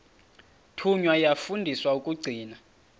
thunywa yafundiswa ukugcina